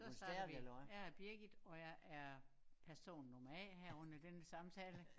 Så starter vi jeg er Birgit og jeg er person nummer A her under denne samtale